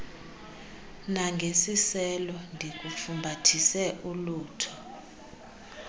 nangesiselo ndikufumbathise ulutho